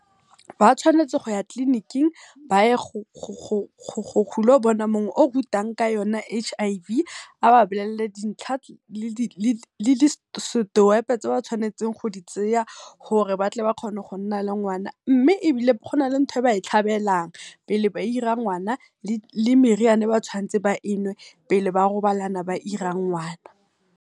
Ba tshwanetse go ya tleniking ba ye go lo bona mong o rutang ka yona H_I_V, ba ba blele dintlha le di step tse ba tshwanetseng go di tseya gore batle ba kgone go nna le ngwana, mme ebile gona le ntho e ba e tlhabelang pele ba ira ngwana, le meriana e ba tshwantseng ba enwe pele ba robalana ba ira ngwana.